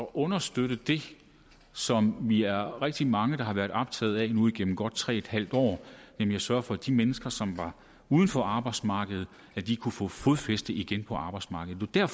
understøtte det som vi er rigtig mange der har været optaget af nu igennem godt tre en halv år nemlig at sørge for at de mennesker som var uden for arbejdsmarkedet kunne få fodfæste igen på arbejdsmarkedet det er